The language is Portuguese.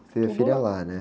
Você teve filha lá, né?